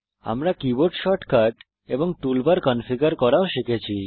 আমরা keyboard shortcut এবং toolbar configure করাও শিখেছি